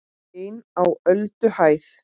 EIN Á ÖLDUHÆÐ